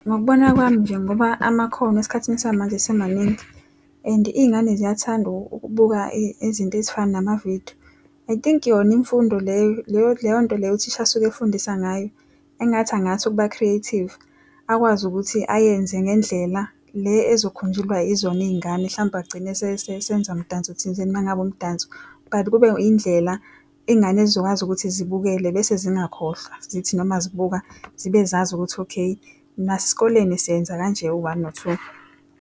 Ngokubona kwami nje ngoba amakhono esikhathini samanje esemaningi, and iy'ngane ziyathanda ukubuka izinto ezifana namavidiyo. I think yona imfundo leyo, leyo nto leyo uthisha asuke efundisa ngayo engathi angathi ukuba-creative. Akwazi ukuthi ayenze ngendlela le ezokhunjulwa izona iy'ngane hlampe agcine esenza mdanso thizeni uma ngabe umdanso. But kube indlela iy'ngane ezizokwazi ukuthi zibukele bese zingakhohlwa. Zithi noma zibuka zibe zazi ukuthi okay nasesikoleni senza kanje u-one no-two.